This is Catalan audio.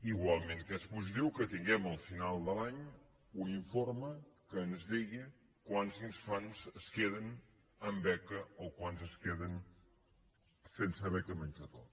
igual que és positiu que tinguem al final de l’any un informe que ens digui quants infants es queden amb beca o quants es queden sense beca menjador